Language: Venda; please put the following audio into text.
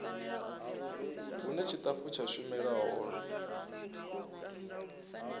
hune tshitafu tsha shumela hone